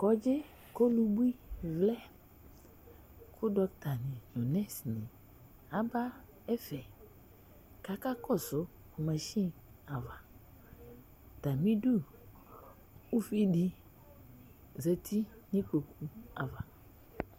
Kɔdzɩ, kʋ ɔlubui vlɛ, kʋ dɔkɩta ni du ɛfɛ Aba ɛfɛ kʋ aka kɔsʋ masini ava Atamidu uvinani zǝti nʋ kpoku ava